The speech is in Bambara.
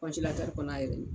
kɔnɔ a yɛrɛ ye